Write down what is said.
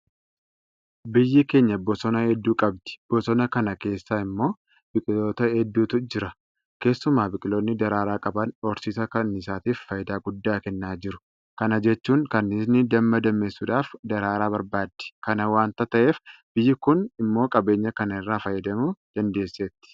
Biyyi keenya bosona hedduu qabdi. Bosona kana keessa immoo biqiloota hedduutu jira. Keessumaa biqiloonni daraaraa qaban horsiisa kanniisaatiif faayidaa guddaa kennaa jiru. Kana jechuun kanniisni damma dammeessuudhaaf daraaraa barbaaddi. Kana waanta ta'eef biyyi kun immoo qabeenya kana irraa fayyadamuu dandeesseetti.